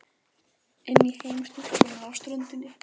Þeir hafi ekki skilið neinn fjársjóð eftir, sagði